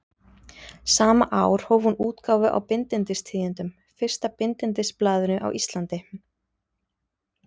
Sama ár hóf hún útgáfu á Bindindistíðindum, fyrsta bindindisblaðinu á Íslandi.